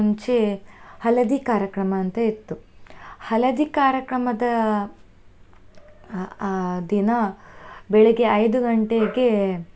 ಮುಂಚೆ ಹಳದಿ ಕಾರ್ಯಕ್ರಮ ಅಂತ ಇತ್ತು, ಹಳದಿ ಕಾರ್ಯಕ್ರಮದ ಆ ದಿನ, ಬೆಳಗ್ಗೆ ಐದು ಗಂಟೆಗೆ.